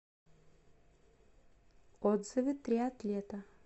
отзывы триатлета